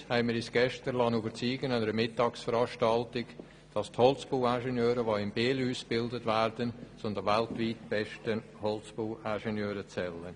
Übrigens haben wir uns gestern an der Mittagsveranstaltung davon überzeugen können, dass die Holzbauingenieure, die in Biel ausgebildet werden, zu den weltweit besten Holzbauingenieuren zählen.